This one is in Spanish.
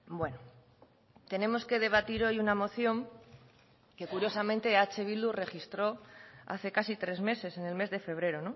bueno tenemos que debatir hoy una moción que curiosamente eh bildu registró hace casi tres meses en el mes de febrero